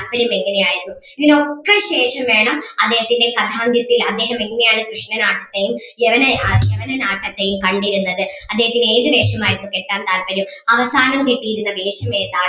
താല്പര്യം എങ്ങനെ ആയിരുന്നു ഇതിനൊക്കെ ശേഷം വേണം അദ്ദേഹത്തിൻ്റെ കഥാന്ത്യത്തിൽ അദ്ദേഹം എങ്ങനെ ആണ് കൃഷ്‌ണനാട്ടത്തിൽ യവനേ യവനനാട്ടത്തെയും കണ്ടിരുന്നത് അദ്ദേഹത്തിന് ഏത് വേഷം ആയിരുന്നു കെട്ടാൻ താത്പര്യം അവസാനം കെട്ടിയിരുന്ന വേഷം ഏതാണ്